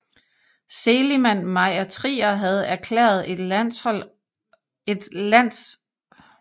Seligman Meyer Trier havde erklæret et landophold for nødvendigt til hustruens helbredelse fra en længere svækkelse